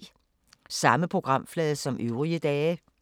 Samme programflade som øvrige dage